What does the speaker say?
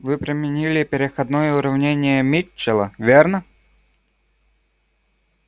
вы применили переходное уравнение митчелла верно